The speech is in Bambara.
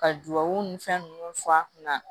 Ka duwawu ni fɛn nunnu fɔ a kunna